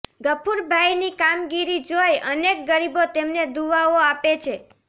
ગફુરભાઈની કામગીરી જોઈ અનેક ગરીબો તેમને દુઆઓ આપે છે